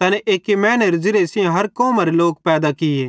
तैनी एक्की मैनू सेइं हर कौमारे लोक पैदा किये